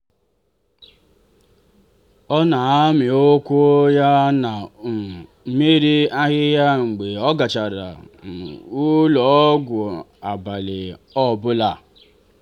ọ na-amị ụkwụ ya na um mmiri ahịhịa mgbe ọ gachara ụlọ ọgwụ abali ọ bụla.